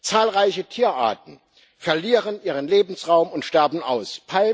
Zahlreiche Tierarten verlieren ihren Lebensraum und sterben aus.